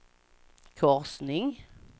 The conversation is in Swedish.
korsning